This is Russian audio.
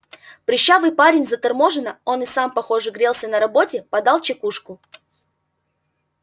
прыщавый парень заторможенно он и сам похоже грелся на работе подал чекушку